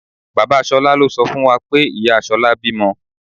Bàbá Ṣolá ló sọ fún wa pé ìyá Ṣolá bímọ.